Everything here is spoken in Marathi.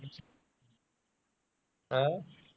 हं?